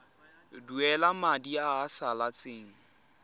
duela madi a a salatseng